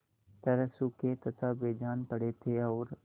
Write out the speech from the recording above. तरह सूखे तथा बेजान पड़े थे और